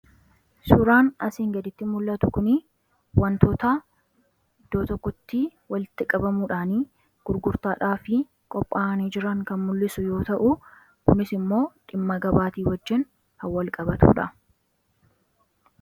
Suuraan asii gaditti mul'atu kuni wantoota iddoo tokkotti walitti qabamuudhaan gurgurtaadhaaf qophaa'anii jiran kan mul'isu yoo ta’u, kunis immoo dhimma gabaatiin wajjin kannwal qabatudha.